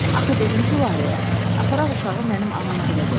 Axı dedim Gülarəyə, aparaq uşağı mənim anam gilə qoyaq.